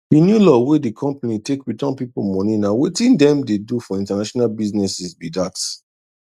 the new law wey the company take return people moneyna wetin dem dey do for international businesses be that